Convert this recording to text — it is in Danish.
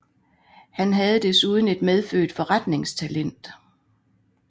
Han havde desuden et medfødt forretningstalent